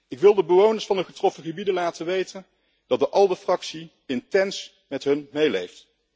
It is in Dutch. Ik wil de bewoners van de getroffen gebieden laten weten dat de ALDE Fractie intens met hun meeleeft.